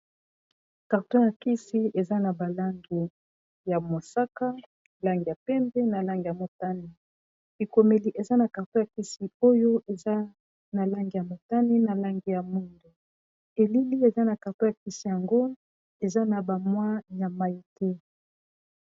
Carton ya kisi eza na balangi ya mosaka lange ya pembe na lange ya motani. likomeli eza na karto ya kisi oyo eza na lange ya motani na lange ya mundo elili eza na karto ya kisi yango eza na bamwa ya mai te.